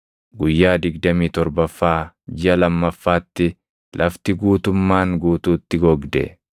Guyyaa digdamii torbaffaa jiʼa lammaffaatti lafti guutummaan guutuutti gogde.